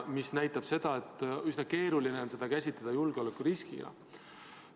See näitab, et üsna keeruline on käsitleda neid julgeolekuriskina.